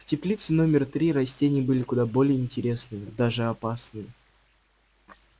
в теплице номер три растения были куда более интересные даже опасны